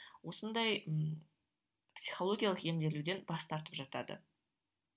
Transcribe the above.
осындай ы психологиялық емделуден бас тартып жатады